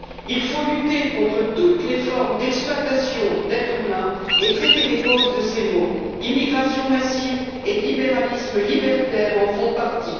Il faut lutter contre toutes les formes d'exploitation d'êtres humains et traiter les causes de ces maux immigration massive et libéralisme libertaire en font partie.